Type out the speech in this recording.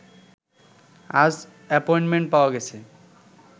আজ অ্যাপয়েন্টমেন্ট পাওয়া গেছে